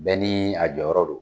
Bɛɛ ni a jɔyɔrɔ don.